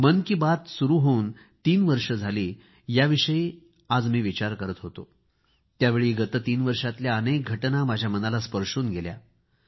मन की बात सुरू होऊन तीन वर्षे झाली याविषयी आज मी विचार करीत होतो त्यावेळी गत तीन वर्षातल्या अनेक घटना माझ्या मनाला स्पर्शून गेल्या